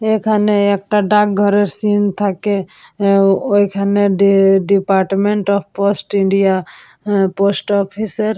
এখানে একটা ডাকঘরের সিন থাকে । হে ওইখানে d department of post India uh post office -এর--